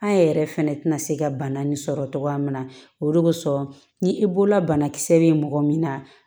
An yɛrɛ fɛnɛ tɛna se ka bana nin sɔrɔ cogoya min na o de bɛ sɔrɔ ni i bolola banakisɛ bɛ mɔgɔ min na